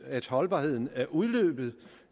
at holdbarhedsdatoen